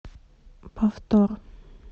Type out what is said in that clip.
повтор